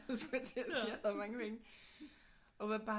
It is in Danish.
Skulle jeg til at sige jeg havde mange penge